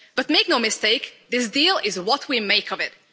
But make no mistake, this deal is what we make of it.